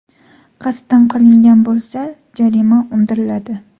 Qasddan qilingan bo‘lsa, jarima undiriladi.